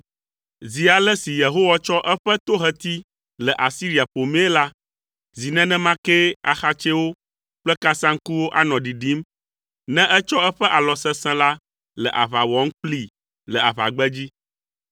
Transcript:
Zi ale si Yehowa tsɔ eƒe toheti le Asiria ƒomii la, zi nenema kee axatsɛwo kple kasaŋkuwo anɔ ɖiɖim ne etsɔ eƒe alɔ sesẽ la le aʋa wɔm kplii le aʋagbedzi.